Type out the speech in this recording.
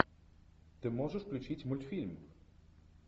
ты можешь включить мультфильм